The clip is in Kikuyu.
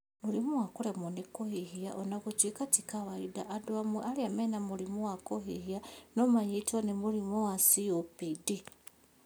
Mũrimũ wa kũremwo nĩ kũhihia, ona gũtuĩka ti kawaida, andũ amwe arĩa mena mũrimũ wa kũhihia, no manyitwo nĩ mũrimũ wa COPD